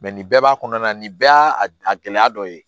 nin bɛɛ b'a kɔnɔna na nin bɛɛ y'a gɛlɛya dɔ ye